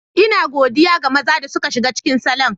Ina godiya ga maza da suka shiga cikin salon.